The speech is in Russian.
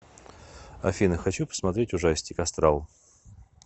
афина хочу посмотреть ужастик астрал